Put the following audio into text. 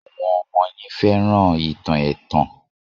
Àwọn ọmọ yín fẹ́ràn ìtàn ẹ̀tàn